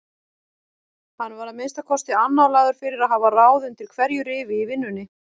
Hann var að minnsta kosti annálaður fyrir að hafa ráð undir hverju rifi í vinnunni.